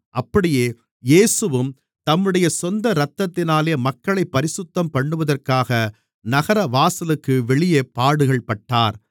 அப்படியே இயேசுவும் தம்முடைய சொந்த இரத்தத்தினாலே மக்களைப் பரிசுத்தம் பண்ணுவதற்காக நகர வாசலுக்கு வெளியே பாடுகள்பட்டார்